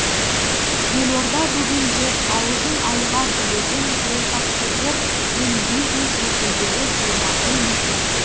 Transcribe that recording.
елорда бүгінде аузын айға білеген саясаткерлер мен бизнес өкілдері жиылатын мекен